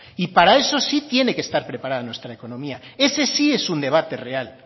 y para eso sí tiene que estar preparada nuestra economía ese sí es un debate real